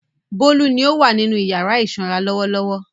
Bólú ni ó wà nínú ìyàrá ìsanra lọ́wọ́lọ́wọ́.